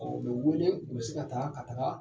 U bɛ wele, u bɛ se ka taa ka taga